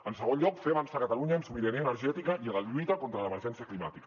en segon lloc fer avançar catalunya en sobirania energètica i en la lluita contra l’emergència climàtica